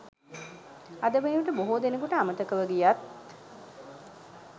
අද වනවිට බොහෝ දෙනකුට අමතකව ගියත්